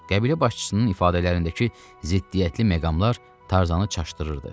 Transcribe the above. Qəbilə başçısının ifadələrindəki ziddiyyətli məqamlar Tarzanı çaşdırırdı.